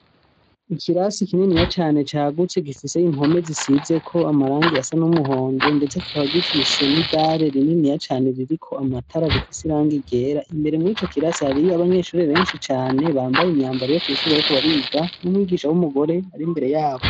Ikirasi kininiya cane cagutse gifise impome zisizeko amarangi asa n'umuhondo, ndetse kikaba gifise n'idare rininiya cane ririko amatara rifise irangi ryera, imbere muri ico kirasi hariyo abanyeshure benshi cane bambaye imyambaro yo kw'ishure bariko bariga n'umwigisha w'umugore ari imbere yabo.